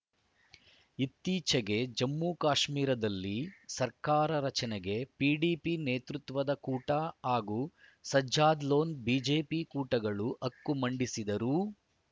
ಇತ್ತೀಚೆಗೆ ಜಮ್ಮುಕಾಶ್ಮೀರದಲ್ಲಿ ಸರ್ಕಾರ ರಚನೆಗೆ ಪಿಡಿಪಿ ನೇತೃತ್ವದ ಕೂಟ ಹಾಗೂ ಸಜ್ಜಾದ್‌ ಲೋನ್‌ಬಿಜೆಪಿ ಕೂಟಗಳು ಹಕ್ಕು ಮಂಡಿಸಿದರೂ